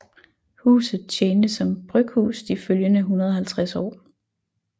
Huset tjente som bryghus de følgende 150 år